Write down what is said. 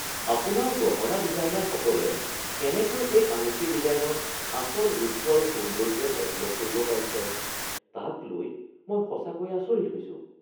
আপোনাৰ গহনা ডিজাইনাৰসকলে কেনেকৈ এই আঙুঠিৰ ডিজাইনত আচল ৰূপটো আৰু সৌন্দৰ্য একলগ কৰিব পাৰিছে তাক লৈ মই সঁচাকৈয়ে আচৰিত হৈছো।